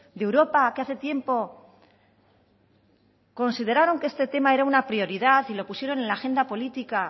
de europa que hace tiempo consideraron que este tema era una prioridad y lo pusieron en la agenda política